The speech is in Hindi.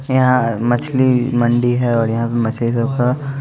यहाँ मछली मंडी है और यहाँ मछली सब का--